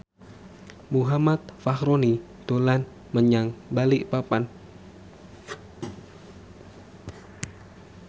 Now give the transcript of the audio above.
Muhammad Fachroni dolan menyang Balikpapan